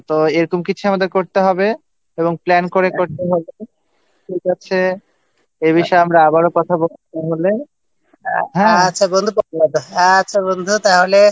তো এরকম কিছু একটা আমাদের করতে হবে এবং প্ল্যান করে করতে হবে ঠিক আছে এই বিষয়ে আমরা আবারও কথা বলব দেখা হলে আচ্ছা বন্ধু তাহলে